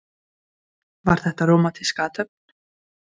Andri Ólafsson: Var þetta rómantísk athöfn?